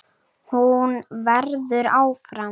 Hún verður áfram.